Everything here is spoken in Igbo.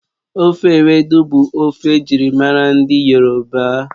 Ofe ewedu bụ ofe ejirimara ndị yoroba